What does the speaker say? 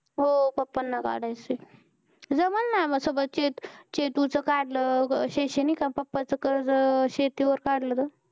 हो papa ना काढायचं आहे जमल ना शेतू च काढलं शैक्षणिक आणि papa च कर्ज शेती वर काढलं तर